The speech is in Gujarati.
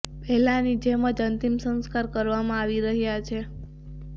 પહેલાની જેમ જ અંતિમ સંસ્કાર કરવામાં આવી રહ્યા છે